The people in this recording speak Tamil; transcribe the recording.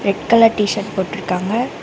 ரெட் கலர் டீ_ஷர்ட் போட்டுருக்காங்க.